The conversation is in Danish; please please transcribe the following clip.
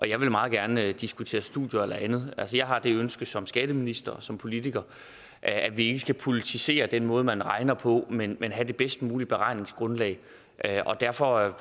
jeg vil meget gerne diskutere studier eller andet altså jeg har det ønske som skatteminister og som politiker at vi ikke skal politisere den måde man regner på men men have det bedst mulige beregningsgrundlag og derfor er